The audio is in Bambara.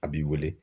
A b'i wele